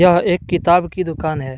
यह एक किताब की दुकान है।